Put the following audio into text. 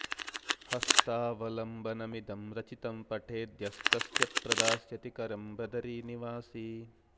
हस्तावलम्बनमिदं रचितं पठेद्य स्तस्य प्रदास्यति करं बदरी निवासी